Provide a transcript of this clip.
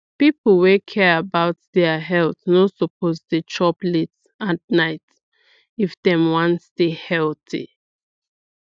people wey care about their health no suppose dey chop late at night if dem wan stay healthy